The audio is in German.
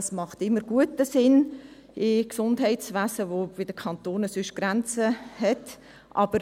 Dies macht immer guten Sinn im Gesundheitswesen, wo sonst bei den Kantonen Grenzen gesetzt sind.